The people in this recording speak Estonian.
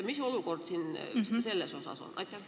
Mis olukord siin selles osas on?